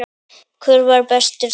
Hver var bestur þarna?